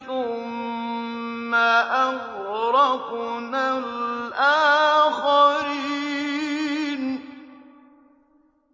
ثُمَّ أَغْرَقْنَا الْآخَرِينَ